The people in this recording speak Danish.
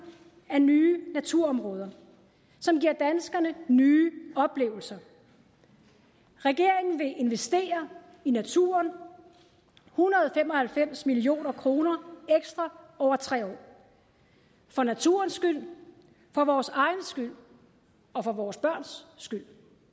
af nye naturområder som giver danskerne nye oplevelser regeringen vil investere i naturen en hundrede og fem og halvfems million kroner ekstra over tre år for naturens skyld for vores egen skyld og for vores børns skyld